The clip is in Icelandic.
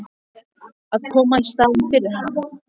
Að koma í staðinn fyrir hann?